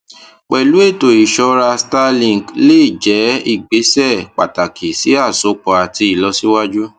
pẹlú ètò ìṣọra starlink lè jẹ ìgbésẹ pàtàkì sí àsopọ àti ìlọsíwájú